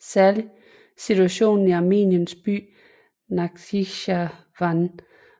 Særlig situationen i Armeniens by Nakhitjevan